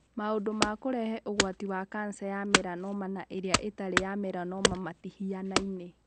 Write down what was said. Maũndu ma kũrehe ũgwati wa kanca ya melanoma na ĩrĩa ĩtarĩ melanoma matĩhianaine.